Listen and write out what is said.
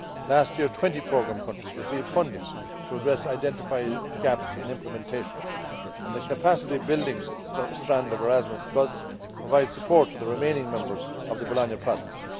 Last year, 20 programme countries received funding to address identified gaps in implementation, and the capacity building strand of Erasmus provides support to the remaining members of the Bologna Process.